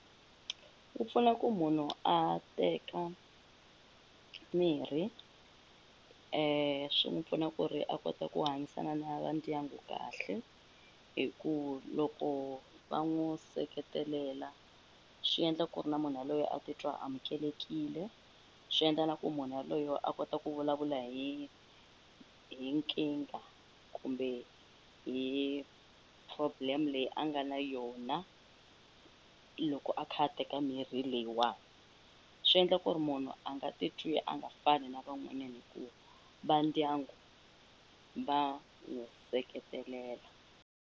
Wu pfuna ku munhu a teka mirhi swi n'wu pfuna ku ri a kota ku hanyisana na va ndyangu kahle hi ku loko va n'wu seketelela swi endla ku ri na munhu yaloye a titwa a amukelekile swi endla na ku munhu yaloye a kota ku vulavula hi hi nkingha kumbe hi problem leyi a nga na yona loko a kha a teka mirhi leyiwani swi endla ku ri munhu a nga titwi a nga fani na van'wanyani hi ku va ndyangu va n'wu seketelela